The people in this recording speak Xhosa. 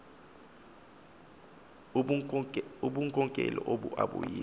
ubunkokeli obu abuyiyo